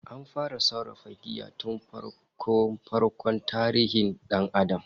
An fara sarrafa giya tun farko-farkon tarihin dan Adam